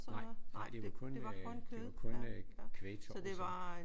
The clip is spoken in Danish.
Nej nej det var kun øh det var kun øh Kvægtorvet sådan